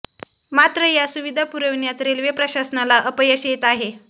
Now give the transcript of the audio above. मात्र या सुविधा पुरविण्यात रेल्वे प्रशासनाला अपयश येत आहे